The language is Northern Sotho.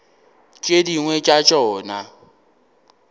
tšeo tše dingwe tša tšona